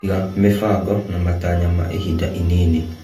Iga mĩbango na matanya ma ihinda inini.